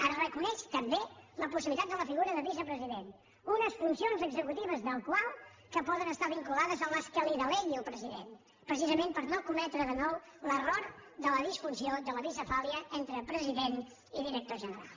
es reconeix també la possibilitat de la figura de vicepresident les funcions executives del qual poden estar vinculades a les que li delegui el president precisament per no cometre de nou l’error de la disfunció de la bicefàlia entre president i director general